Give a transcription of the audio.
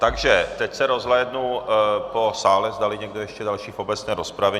Takže teď se rozhlédnu po sále, zdali někdo ještě další k obecné rozpravě.